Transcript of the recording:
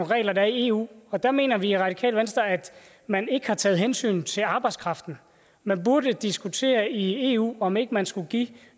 regler der er i eu og der mener vi i radikale venstre at man ikke har taget hensyn til arbejdskraften man burde diskutere i eu om ikke man skulle give